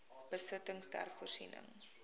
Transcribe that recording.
besittings ter voorsiening